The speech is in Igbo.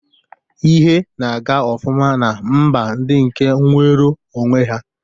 Ihe na-aga ofụma na mba ndi nke nwero onwe ha.